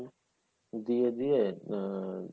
দিয়ে দিয়ে আ~